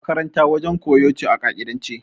Makaranta wajen koyo ce a ƙa'idance.